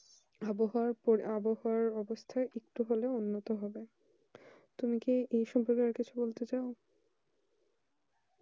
আবহাওয়ার অবস্থান এগুলো উন্নতি হবে তুমি কি এই সব দিকে আর কিছু বলতে